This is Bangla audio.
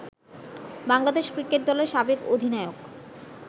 বাংলাদেশ ক্রিকেট দলের সাবেক অধিনায়ক